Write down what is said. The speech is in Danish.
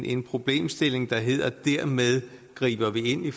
en problemstilling der hedder at dermed griber vi ind i